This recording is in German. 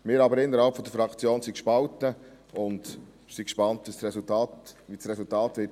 Wir sind innerhalb der Fraktion gespalten und sind gespannt, wie das Resultat ausfallen wird.